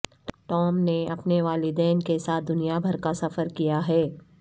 Tom نے اپنے والدین کے ساتھ دنیا بھر کا سفر کیا ہے